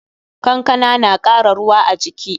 Kankana na kara ruwa a jiki.